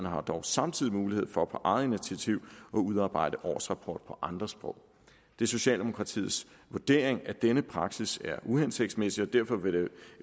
har dog samtidig mulighed for på eget initiativ at udarbejde årsrapport på andre sprog det er socialdemokratiets vurdering at denne praksis er uhensigtsmæssig og derfor vil